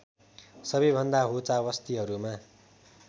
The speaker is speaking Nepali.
सबैभन्दा होचा वस्तीहरूमा